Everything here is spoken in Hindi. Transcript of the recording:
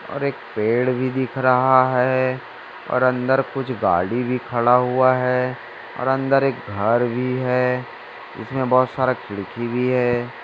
और एक पेड़ भी दिख रहा है और अंदर कुछ गाडीभी खड़ा हुआ है और अंदर एक घर भी हैइसमे बहुत सारा खिडकी भी है।